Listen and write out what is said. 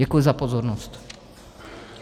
Děkuji za pozornost.